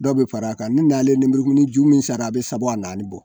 Dɔw bɛ fara a kan ni nalen nibrikunmuni ju min sara a bɛ saba wa naani bɔ.